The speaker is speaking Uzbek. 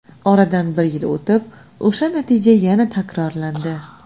Oradan bir yil o‘tib o‘sha natija yana takrorlandi.